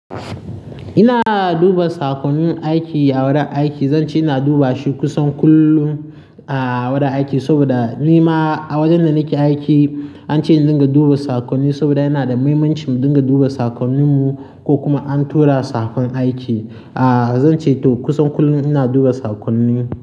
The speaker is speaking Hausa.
Ina duba saƙonnin aiki a wurin aiki. Zan ce ina duba shi kusan kullum a wurin aiki saboda ni ma a wurin da nake aiki an ce in dinga duba saƙonni saboda yana da mahimmanci mu dinga duba saƙonnin mu ko kuma an tura saƙon aiki. Aaa, zan ce to kusan kullum ina duba saƙonni.